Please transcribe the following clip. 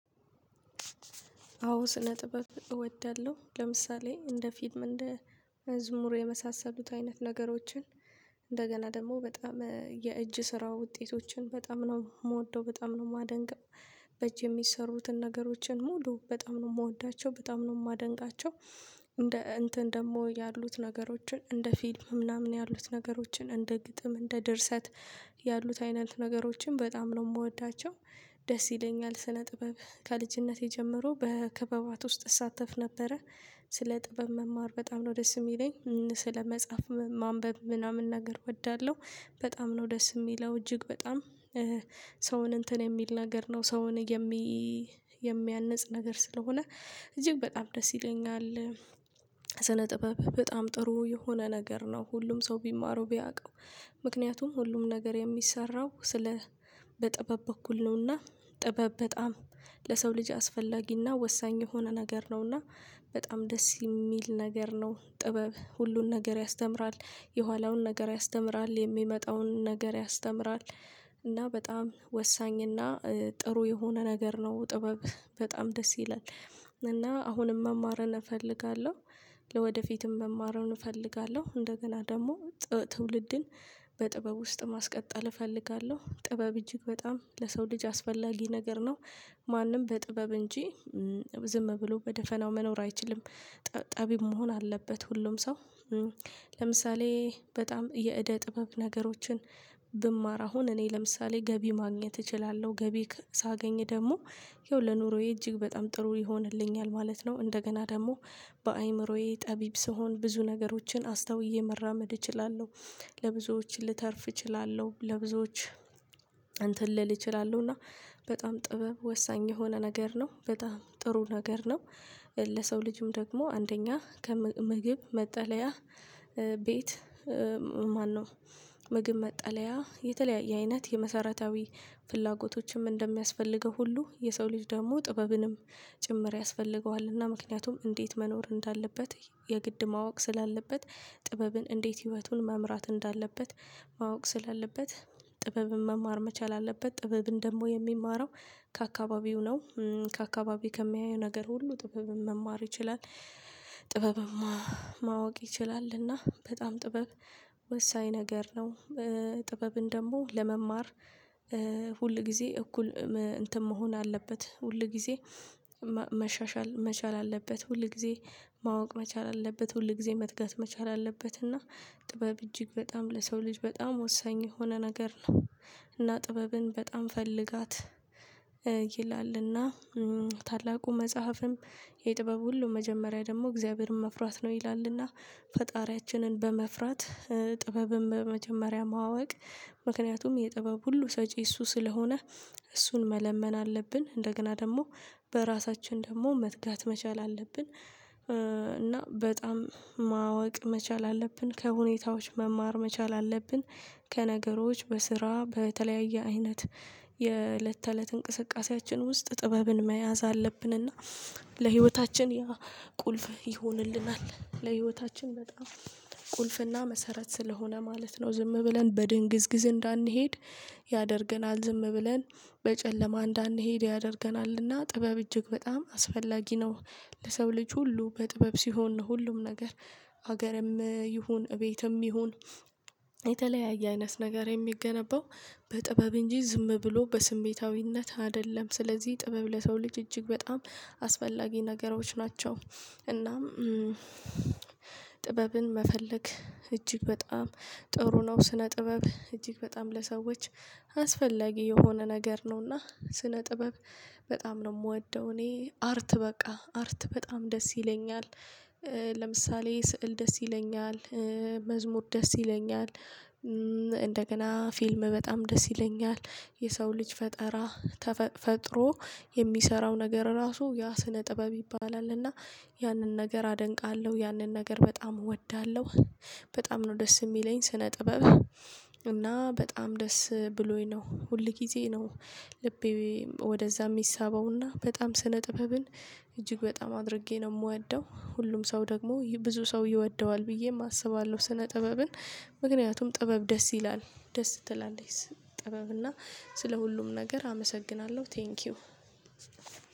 አዎ ስነ ጥበብ እወዳለሁ ለምሳሌ እንደ ፊልም እንደ መዝሙሩ የመሳሰሉት አይነት ነገሮችን እንደገና ደግሞ በጣም የእጅ ስራ ውጤቶችን በጣም ነው የምወደው በጣም ነው የማደንቀው። በእጅ የሚሰሩትን ነገሮችን ሙሉ በጣም ነው የምወዳቸው በጣም ነው የማደንቃቸው። እንደ እንትን ደግሞ ያሉት ነገሮችን እንደ ፊልም ምናምን ያሉት ነገሮችን እንደ ግጥም እንደ ድርሰት ያሉት አይነት ነገሮችን በጣም ነው የምወዳቸው። ደስ ይለኛል ስነ ጥበብ ከልጅነቴ ጀመሮ በክበባት ውስጥ እሳተፍ ነበረ። ስለ ጥበብ መማር በጣም ነው ደስ የሚለኝ ስለ መጽሐፍ ማንበብ ምናምን ነገር እወዳለሁ። በጣም ነው ደስ የሚለው እጅግ በጣም ሰውን እንትን የሚል ነገር ነው ሰውን የሚ የሚያንጽ ነገር ስለሆነ እጅግ በጣም ደስ ይለኛል። ስነ ጥበብ በጣም ጥሩ የሆነ ነገር ነው ሁሉም ሰው ቢማረው ቢያውቀው። ምክንያቱም ሁሉም ነገር የሚሰራው ስለ በጥበብ በኩል ነውና ጥበብ በጣም ለሰው ልጅ አስፈላጊና ወሳኝ የሆነ ነገር ነውና። በጣም ደስ የሚል ነገር ነው ጥበብ ሁሉን ነገር ያስተምራል የኋለኛውን ነገር ያስተምራል የሚመጣውን ነገር ያስተምራል። እና በጣም ወሳኝና ጥሩ የሆነ ነገር ነው ጥበብ በጣም ደስ ይላል እና አሁንም መማርን እፈልጋለሁ። ለወደፊትም መማሩን እፈልጋለሁ እንደገና ደግሞ ትውልድን በጥበብ ውስጥ ማስቀጠል እፈልጋለሁ ጥበብ እጅግ በጣም ለሰው ልጅ አስፈላጊ ነገር ነው። ማንም በጥበብ እንጂ ዝም ብሎ በደፈናው መኖር አይችልም። ጠቢብ መሆን አለበት ሁሉም ሰው። ለምሳሌ በጣም የእደ ጥበብ ነገሮችን ብማር አሁን እኔ ለምሳሌ ገቢ ማግኘት እችላለሁ ገቢ ሳገኝ ደግሞ ይኸው ለኑሮዬ እጅግ በጣም ጥሩ ይሆንልኛል ማለት ነው። እንደገና ደግሞ በአእምሮዬ ጠቢብ ስሆን ብዙ ነገሮችን አስታውዬ መራመድ እችላለሁ። ለብዙዎች ልተርፍ እችላለሁ ለብዙዎች እንትን ልል እችላለሁ እና በጣም ጥበብ ወሳኝ የሆነ ነገር ነው በጣም ጥሩ ነገር ነው። ለሰው ልጅም ደግሞ አንደኛ ከምግብ መጠለያ ቤት ማነው ምግብ መጠለያ የተለያየ አይነት የመሰረታዊ ፍላጎቶችም እንደሚያስፈልገው ሁሉ የሰው ልጅ ደግሞ ጥበብንም ጭምር ያስፈልገዋል። እና ምክንያቱም እንዴት መኖር እንዳለበት የግድ ማወቅ ስላለበት ጥበብን እንዴት ህይወቱን መምራት እንዳለበት ማወቅ ስላለበት ጥበብን መማር መቻል አለበት። ጥበብን ደግሞ የሚማረው ከአካባቢው ነው ከአካባቢው ከሚያየው ነገር ሁሉ ጥበብ መማር ይችላል። ጥበብም ማወቅ ይችላል እና በጣም ጥበብ ወሳኝ ነገር ነው። ጥበብን ደግሞ ለመማር ሁል ጊዜ እኩል እንትን መሆን አለበት ሁል ጊዜ መሻሻል መቻል አለበት ሁል ጊዜ ማወቅ መቻል አለበት ሁል ጊዜ መትጋት መቻል አለበት። እና ጥበብ እጅግ በጣም ለሰው ልጅ በጣም ወሳኝ የሆነ ነገር ነው። እና ጥበብን በጣም ፈልጋት ይላልና ታላቁ መጽሐፍም የጥበብ ሁሉ መጀመሪያ ደግሞ እግዚአብሔርን መፍራት ነው። ይላልና ፈጣሪያችንን በመፍራት ጥበብም በመጀመሪያ ማወቅ ምክንያቱም የጥበብ ሁሉ ሰጪ እሱ ስለሆነ እሱን መለመን አለብን እንደገና ደግሞ በራሳችን ደግሞ መትጋት መቻል አለብን። እና በጣም ማወቅ መቻል አለብን ከሁኔታዎች መማር መቻል አለብን። ከነገሮች በስራ በተለያየ አይነት የእለት ተእለት እንቅስቃሴያችን ውስጥ ጥበብን መያዝ አለብንና ለህይወታችን ቁልፍ ይሆንልናል ለህይወታችን በጣም ቁልፍና መሰረት ስለሆነ ማለት ነው። ዝም ብለን በድንግዝግዝ እንዳንሄድ ያደርገናል ዝም ብለን በጨለማ እንዳንሄድ ያደርገናልና ጥበብ እጅግ በጣም አስፈላጊ ነው። ለሰው ልጅ ሁሉ በጥበብ ሲሆን ሁሉም ነገር ሀገርም ይሁን እቤትም ይሁን የተለያየ አይነት ነገር የሚገነባው በጥበብ እንጂ ዝም ብሎ በስሜታዊነት አይደለም። ስለዚህ ጥበብ ለሰው ልጅ እጅግ በጣም አስፈላጊ ነገሮች ናቸው። እናም ጥበብን መፈለግ እጅግ በጣም ጥሩ ነው። ስነ ጥበብ እጅግ በጣም ለሰዎች አስፈላጊ የሆነ ነገር ነውና። ስነ ጥበብ በጣም ነው የምወደው እኔ አርት በቃ አርት በጣም ደስ ይለኛል። ለምሳሌ ስዕል ደስ ይለኛል። መዝሙር ደስ ይለኛል። እንደገና ፊልም በጣም ደስ ይለኛል። የሰው ልጅ ፈጠራ ተፈጥሮ የሚሰራው ነገር ራሱ ያ ስነ ጥበብ ይባላል እና ያንን ነገር አደንቃለሁ ያንን ነገር በጣም እወዳለሁ። በጣም ነው ደስ የሚለኝ ስነ ጥበብ። እና በጣም ደስ ብሎኝ ነው ሁል ጊዜ ነው። ልቤ ወደዛ የሚሳበውና በጣም ስነ ጥበብን እጅግ በጣም አድርጌ ነው የምወደው። ሁሉም ሰው ደግሞ ብዙ ሰው ይወደዋል ብዬም አስባለሁ። ስነ ጥበብን ምክንያቱም ጥበብ ደስ ይላል ደስ ትላለች ጥበብ እና ስለ ሁሉም ነገር አመሰግናለሁ። ቴንኪው